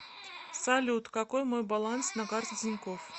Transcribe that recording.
салют какой мой баланс на карте тинькофф